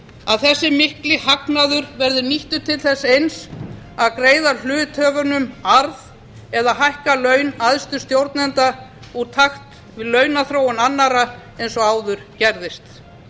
að þessi mikli hagnaður verði nýttur til þess eins að greiða hluthöfunum arð eða hækka laun æðstu stjórnenda úr takt við launaþróun annarra eins og áður gerðist